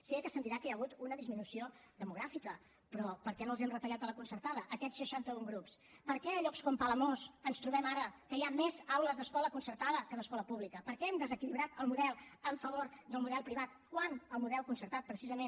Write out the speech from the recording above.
sé que se’m dirà que hi ha hagut una disminució demogràfica però per què no els hem retallat de la concertada aquests seixanta un grups per què a llocs com a palamós ens trobem ara que hi ha més aules d’escola concertada que d’escola pública per què hem desequilibrat el model a favor del model privat quan el model concertat precisament